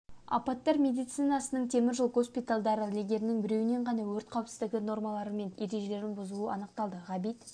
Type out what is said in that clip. апаттар медицинасының темір жол госпитальдары легердің біреуінен ғана өрт қауіпсіздігі нормалары мен ережелерін бұзу анықталды ғабит